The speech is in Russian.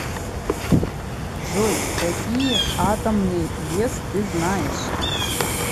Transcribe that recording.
джой какие атомный вес ты знаешь